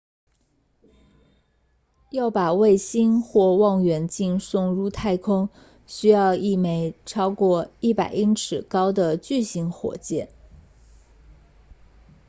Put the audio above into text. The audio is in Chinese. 要把卫星或望远镜送入太空需要一枚超过100英尺高的巨型火箭